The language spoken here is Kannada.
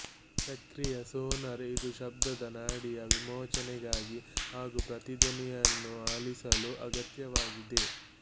ಸಕ್ರಿಯ ಸೋನಾರ್ ಇದು ಶಬ್ದದ ನಾಡಿಯ ವಿಮೋಚನೆಗಾಗಿ ಹಾಗೂ ಪ್ರತಿಧ್ವನಿಯನ್ನು ಆಲಿಸಲು ಅಗತ್ಯವಾಗಿದೆ